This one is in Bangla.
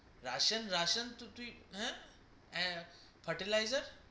russian russian হা তুই হা fertilizer